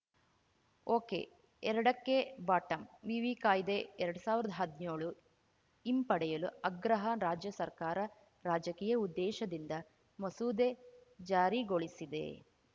ಒಕೆಎರಡಕ್ಕೆ ಬಾಟಂವಿವಿ ಕಾಯ್ದೆಎರಡ್ ಸಾವಿರ್ದಾ ಹದ್ನೇಳು ಹಿಂಪಡೆಯಲು ಆಗ್ರಹ ರಾಜ್ಯ ಸರ್ಕಾರ ರಾಜಕೀಯ ಉದ್ದೇಶದಿಂದ ಮಸೂದೆ ಜಾರಿಗೊಳಿಸಿದೆ